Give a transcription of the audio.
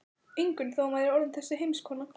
Ingunn þó hún væri orðin þessi heimskona.